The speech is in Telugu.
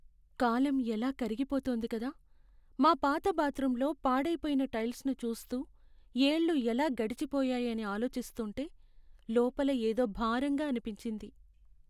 కాలం ఎలా కరిగిపోతుంది కదా. మా పాత బాత్రూంలో పాడైపోయిన టైల్స్ను చూస్తూ, ఏళ్లు ఎలా గడిచిపోయాయని ఆలోచిస్తుంటే.. లోపల ఏదో భారంగా అనిపించింది.